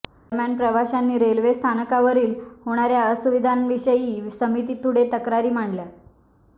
दरम्यान प्रवाशांनी रेल्वे स्थानकावरील होणाऱ्या असुविधांविषयी समिती पुढे तक्रारी मांडल्या